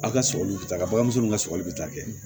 Aw ka sɔgɔli bɛ taa balimamuso ninnu ka sɔgɔli bɛ taa kɛ